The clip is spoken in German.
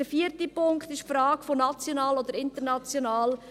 Der vierte Punkt ist die Frage von national oder international: